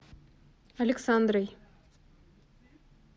александрой